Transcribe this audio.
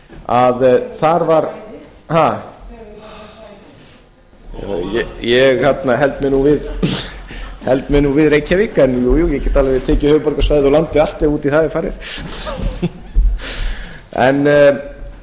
að þar var ég held mig nú við reykjavík en jú jú ég get alveg tekið höfuðborgarsvæðið og landið allt ef út í það er farið en